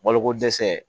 Balokodɛsɛ